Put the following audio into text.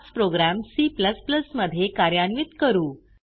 हाच program C मध्ये कार्यान्वित करू